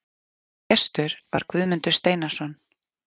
Gestur var Guðmundur Steinarsson.